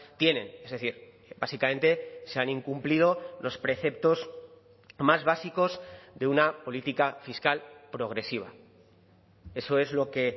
tienen es decir básicamente se han incumplido los preceptos más básicos de una política fiscal progresiva eso es lo que